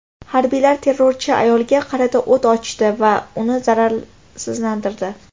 Harbiylar terrorchi ayolga qarata o‘t ochdi va uni zararsizlantirdi.